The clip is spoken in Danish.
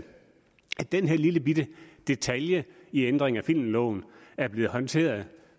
den her lillebitte detalje i ændringen af filmloven er blevet håndteret